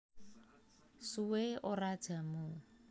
Suwe Ora Jamu